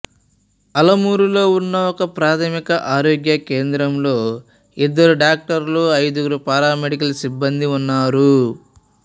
ఆలమూరులో ఉన్న ఒకప్రాథమిక ఆరోగ్య కేంద్రంలో ఇద్దరు డాక్టర్లు ఐదుగురు పారామెడికల్ సిబ్బందీ ఉన్నారు